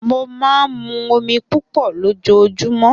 Mo máa ń mu omi púpọ̀ lójoojúmọ́